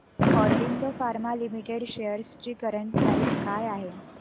Aurobindo pharma limited shares ची current price काय आहे